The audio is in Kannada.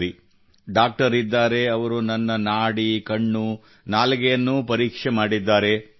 ಸರಿ ಡಾಕ್ಟರ್ ಇದ್ದಾರೆ ಅವರು ನನ್ನ ನಾಡಿ ಕಣ್ಣು ನಾಲಿಗೆಯನ್ನೂ ಪರೀಕ್ಷಿಸಿದ್ದಾರೆ